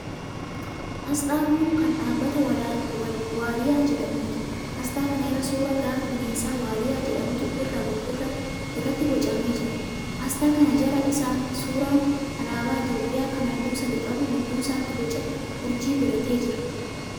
Asxaa kun kan dhaabbata Waaliyaa jedhamuuti. Asxaa kana irra suuraa gaafa bineensa Waaliyaa jedhamuutu irratti boocamee jira. Asxaa kana jala isaan suuraan alaabaa Itiyoopiyaa kan halluu sadii qabu gidduu isaatti boca urjii godhatee jira.